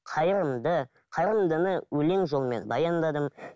қайырымды қарындыны өлең жолмен баяндадым